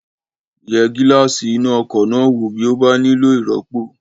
Yẹ gíláàsì iná ọkọ̀ náà wò bí ó bá nílò ìrọ́pò